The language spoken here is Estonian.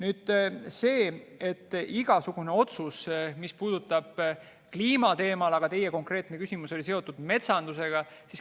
Teie konkreetne küsimus oli seotud metsandusega, aga igasugused sellised otsused puudutavad ka kliima teemat.